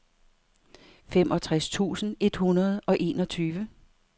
femogtres tusind et hundrede og enogtyve